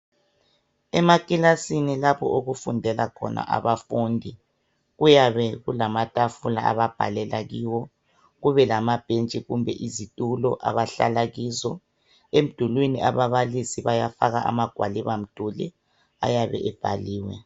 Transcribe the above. Emakilasini lapho okufundela khona abafundi. Kuyabe kulamatafula ababhalela kiwo. Kube lamabhentshi kumbe izitulo, abahlala kizo. Emdulwini, ababalisi, bayafaka amagwalibamduli. Ayabe ebhaliwe.